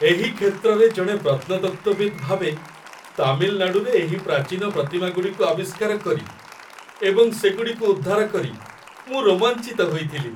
ଏହି କ୍ଷେତ୍ରରେ ଜଣେ ପ୍ରତ୍ନତତ୍ତ୍ୱବିତ୍ ଭାବେ, ତାମିଲନାଡ଼ୁରେ ଏହି ପ୍ରାଚୀନ ପ୍ରତିମାଗୁଡ଼ିକୁ ଆବିଷ୍କାର କରି ଏବଂ ସେଗୁଡ଼ିକୁ ଉଦ୍ଧାର କରି ମୁଁ ରୋମାଞ୍ଚିତ ହୋଇଥିଲି।